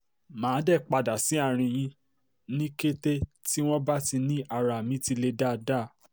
mà á dé padà sí àárín àárín yín ní kété tí wọ́n bá ti ní ara mi ti le dáadáa